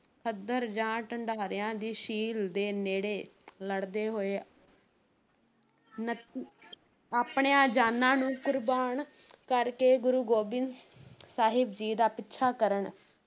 ਖੱਦਰ ਜਾਂ ਢਡਾਰਿਆਂ ਦੀ ਸ਼ੀਲ ਦੇ ਨੇੜੇ ਲੜਦੇ ਹੋਏ ਉਣੱਤੀ ਆਪਣੀਆਂ ਜਾਨਾਂ ਨੂੰ ਕੁਰਬਾਨ ਕਰ ਕੇ ਗੁਰੂ ਗੋਬਿੰਦ ਸਾਹਿਬ ਜੀ ਦਾ ਪਿੱਛਾ ਕਰਨ